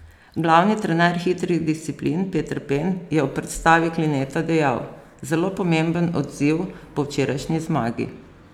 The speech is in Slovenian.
Glavni trener hitrih disciplin Peter Pen je o predstavi Klineta dejal: "Zelo pomemben odziv po včerajšnji zmagi.